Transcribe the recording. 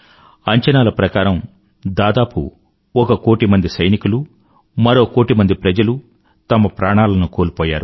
అంచనాల ప్రకారం దాదాపు ఒక కోటిమంది సైనికులు మరో కోటి మంది ప్రజలు తమ ప్రాణాలను కోల్పోయారు